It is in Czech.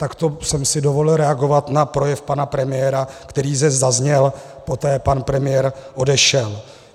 Tak to jsem si dovolil reagovat na projev pana premiéra, který zde zazněl, poté pan premiér odešel.